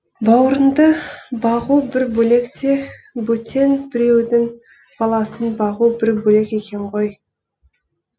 бауырыңды бағу бір бөлек те бөтен біреудің баласын бағу бір бөлек екен ғой